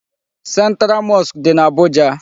Central mosque dị na Abuja.